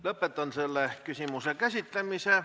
Lõpetan selle küsimuse käsitlemise.